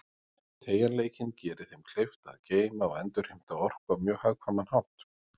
Teygjanleikinn gerir þeim kleift að geyma og endurheimta orku á mjög hagkvæman hátt.